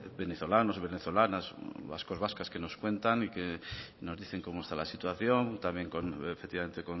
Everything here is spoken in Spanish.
venezolanos y venezolanas vascos y vascas que nos cuentan y que nos dicen cómo está la situación también efectivamente